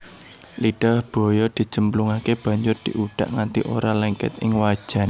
Lidah buaya dicemplungake banjur diudak nganti ora lengket ing wajan